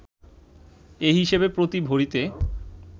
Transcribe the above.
এ হিসাবে প্রতি ভরিতে